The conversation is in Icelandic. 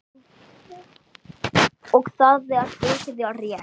Og það er mikið rétt.